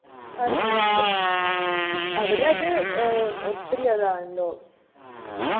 per month അവിടെ അത് ഏർ ഒത്തിരി അതാണല്ലോ